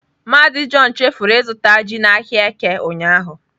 Mazị john chefuru azụta ji n'ahịa Eke ụnyahụ.